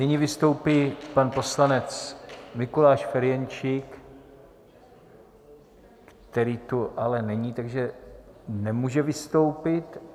Nyní vystoupí pan poslanec Mikuláš Ferjenčík, který tu ale není, takže nemůže vystoupit.